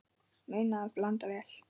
Muna að blanda vel.